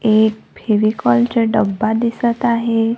एक फेविकॉल चा डब्बा दिसत आहे.